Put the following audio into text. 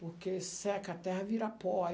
Porque seca, a terra vira pó, aí